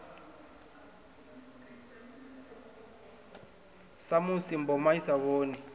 samusi mboma i sa vhoni